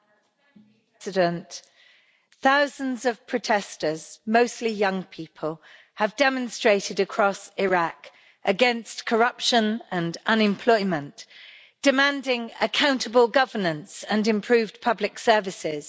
Mr President, incident, thousands of protesters, mostly young people have demonstrated across Iraq against corruption and unemployment, demanding accountable governance and improved public services.